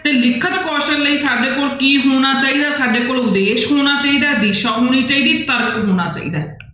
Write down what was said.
ਤੇ ਲਿਖਣ ਕੌਸਲ ਲਈ ਸਾਡੇ ਕੋਲ ਕੀ ਹੋਣਾ ਚਾਹੀਦਾ ਸਾਡੇ ਕੋਲ ਉਦੇਸ਼ ਹੋਣਾ ਚਾਹੀਦਾ ਹੈ, ਦਿਸ਼ਾ ਹੋਣੀ ਚਾਹੀਦੀ, ਤਰਕ ਹੋਣਾ ਚਾਹੀਦਾ ਹੈ।